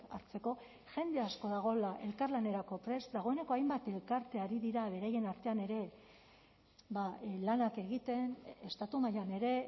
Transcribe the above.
hartzeko jende asko dagoela elkarlanerako prest dagoeneko hainbat elkarte ari dira beraien artean ere lanak egiten estatu mailan ere